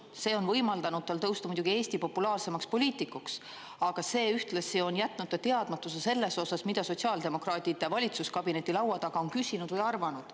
See on võimaldanud tal tõusta muidugi Eesti populaarsemaks poliitikuks, aga see ühtlasi on jätnud ta teadmatusse selles osas, mida sotsiaaldemokraadid valitsuskabineti laua taga on küsinud või arvanud.